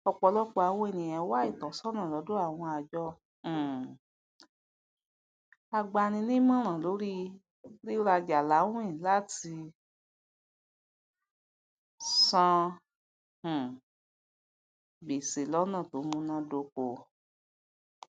ọpọlọpọ àwon èniyàn wá ìtọsọnà lọdọ àwọn àjọ um agbaninímọràn lórí rírajà láwìn latí san um gbèsè lọnà tó múná dóko